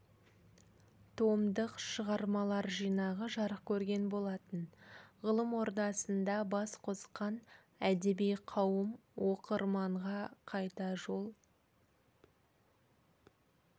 томдық шығармалар жинағы жарық көрген болатын ғылым ордасында бас қосқан әдеби қауым оқырманға қайта жол